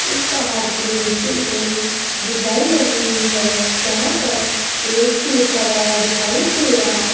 उस पहाड़ के नीचे कोई डिज़ाइन बनी हुई है जहां पर एक गेट लगा हुआ दिखाई दे रहा है।